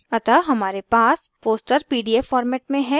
अतः हमारे पास poster pdf format में है